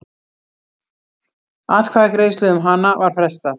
Atkvæðagreiðslu um hana var frestað.